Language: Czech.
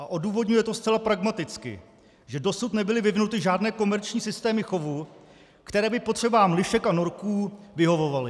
A odůvodňuje to zcela pragmaticky, že dosud nebyly vyvinuty žádné komerční systémy chovů, které by potřebám lišek a norků vyhovovaly.